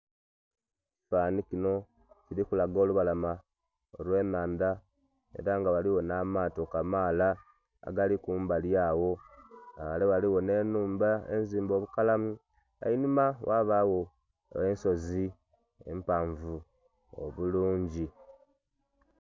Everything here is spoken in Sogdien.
Ekifanhanhi kinho kili kulaga olubalama olwe nhandha era nga ghaligho nha mato kamaala agali kumbali agho nga ghale ghaligho nhe nhumba enzimbe obukalamu, einhuma gha bagho ensozi empavu obulungi.